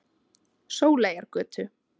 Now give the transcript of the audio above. Sóleyjargötu